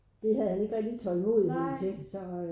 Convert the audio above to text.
Det havde han ikke rigtig tålmodighed til så øh